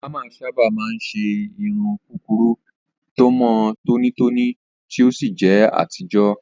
Òbámà sábà máa ń ṣe irun kúkúrú tó mọ́ tónítóní tí ó sì jẹ́ àtijọ́.